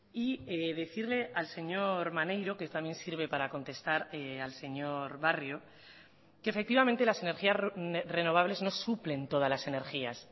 y decirle al señor maneiro que también sirve para contestar al señor barrio que efectivamente las energías renovables no suplen todas las energías